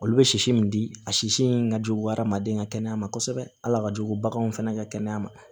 Olu bɛ sisi min di a sisi in ka jugu adamaden ka kɛnɛya ma kosɛbɛ hali a ka jugu baganw fɛnɛ ka kɛnɛya ma